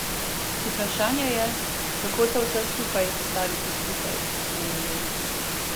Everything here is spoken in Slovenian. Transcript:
Vprašanje je, kako to vse skupaj sestaviti skupaj, je menil.